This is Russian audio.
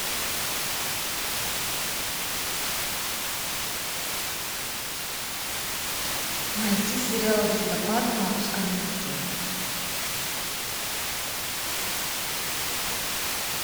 найти сериал листопад на русском языке